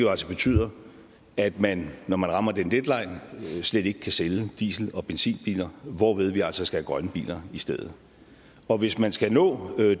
altså betyder at man når man rammer den deadline slet ikke kan sælge diesel og benzinbiler hvorved vi altså skal have grønne biler i stedet og hvis man skal nå